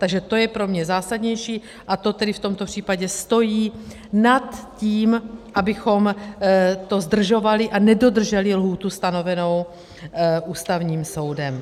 Takže to je pro mě zásadnější a to tedy v tomto případě stojí nad tím, abychom to zdržovali a nedodrželi lhůtu stanovenou Ústavním soudem.